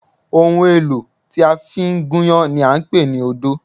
Ohun èlò tí a fi ń gúnyán ni à ń pè ní odó